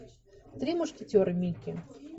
три мушкетера микки